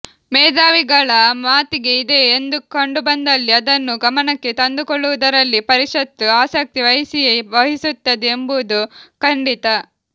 ಮೇಧಾವಿಗಳ ಮತಿಗೆ ಇದೆ ಎಂದು ಕಂಡುಬಂದಲ್ಲಿ ಅದನ್ನು ಗಮನಕ್ಕೆ ತಂದುಕೊಳ್ಳುವುದರಲ್ಲಿ ಪರಿಷತ್ತು ಆಸಕ್ತಿ ವಹಿಸಿಯೇ ವಹಿಸುತ್ತದೆ ಎಂಬುದು ಖಂಡಿತ